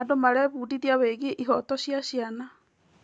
Andũ marebundithia wĩgiĩ ihooto cia ciana.